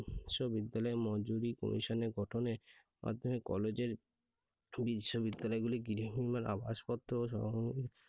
বিশ্ববিদ্যালয় মঞ্জুরি commission গঠনে মাধ্যমে college এর বিশ্ববিদ্যালয়গুলি গৃহনির্মাণ আসবাবপত্র সহ